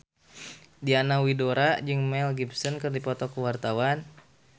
Diana Widoera jeung Mel Gibson keur dipoto ku wartawan